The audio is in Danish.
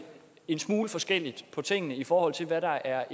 en smule forskelligt på tingene i forhold til hvad der er